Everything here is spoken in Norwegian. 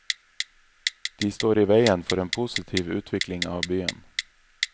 De står i veien for en positiv utvikling av byen.